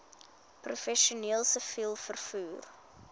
professioneel siviel vervoer